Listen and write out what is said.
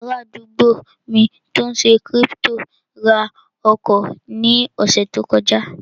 Ará àdúgbò mi tó n ṣe kírípítò ra ọkọ̀ ní ọ̀sẹ̀ tó kọjá